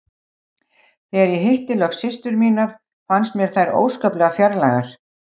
Þegar ég hitti loks systur mínar fannst mér þær óskaplega fjarlægar.